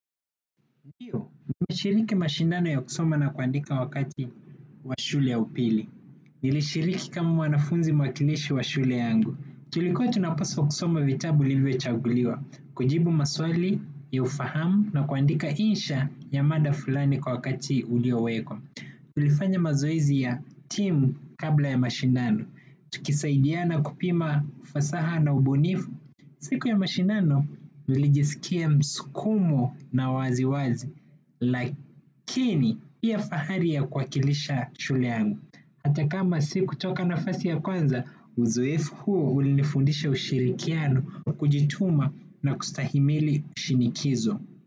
Ndiyo, nimeshiriki mashindano ya kusoma na kuandika wakati wa shule ya upili. Nilishiriki kama mwanafunzi makinishi wa shule yangu. Tulikuwa tunapaswa kusoma vitabu vilivyochaguliwa kujibu maswali, ya ufahamu na kuandika insha ya mada fulani kwa wakati uliowekwa. Tulifanya mazoezi ya timu kabla ya mashindano. Tukisaidiana kupima ufasaha na ubunifu. Siku ya mashindano, nilijisikia msukumo na wasiwasi. Lakini pia fahari ya kuwakilisha shule yangu hata kama sikutoka nafasi ya kwanza. Uzoefu huo ulinifundisha ushirikiano kujituma na kustahimili shinikizo.